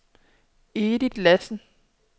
Edith Lassen